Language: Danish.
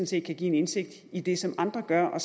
set kan give en indsigt i det som andre gør